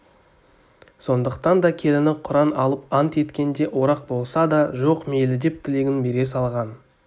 сондықтан да келіні құран алып ант еткенде орақ болса да жоқ мейлідеп тілегін бере салған